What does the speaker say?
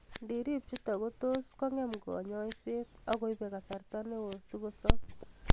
Ngirip chutok kotos kong'em kanyoiset akoibe kasarta neoo sikosob